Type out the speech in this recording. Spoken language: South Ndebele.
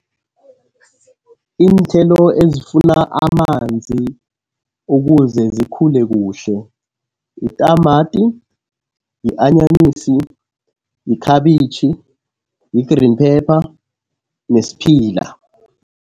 Iinthelo ezifuna amanzi ukuze zikhule kuhle yitamati, yi-anyanisi, yikhabitjhi, yi-green pepper nesiphila.